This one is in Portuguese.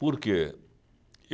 Por quê? E